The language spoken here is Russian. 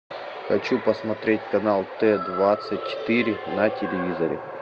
хочу посмотреть канал т двадцать четыре на телевизоре